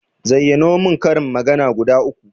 Zayyano mun karin magana guda uku